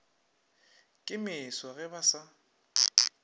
ke meso ge ba sa